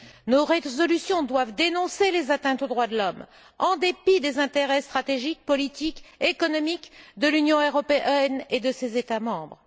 Nos résolutions doivent dénoncer les atteintes aux droits de l'homme, et ce en dépit des intérêts stratégiques, politiques, économiques de l'Union européenne et de ses États membres.